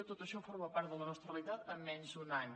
tot això forma part de la nostra realitat en menys un any